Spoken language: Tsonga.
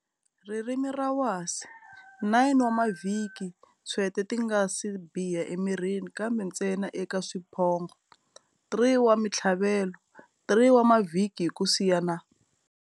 Ririmi ra wasi, 9 wa mavhiki ntshwete ti nga si biha emirini kambe ntsena eka swiphongho, 3 wa mintlhavelo, 3 wa mavhiki hi ku siyana.